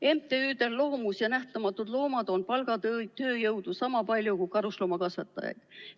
MTÜ-del Loomus ja Nähtamatud Loomad on palgatööjõudu sama palju kui karusloomakasvatajaid.